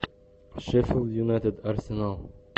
шеффилд юнайтед арсенал